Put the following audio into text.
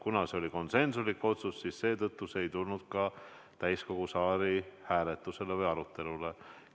Kuna see oli konsensuslik otsus, siis see ei tulnud ka täiskogu istungil hääletusele või arutelule.